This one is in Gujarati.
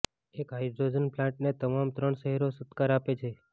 એક હાઈડ્રોજન પ્લાન્ટને તમામ ત્રણ શહેરો સત્કાર આપે છે